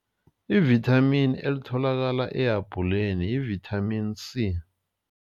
Ivithamini elitholakala ehabhuleni yivithamini C.